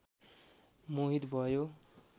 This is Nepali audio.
मोहित भयो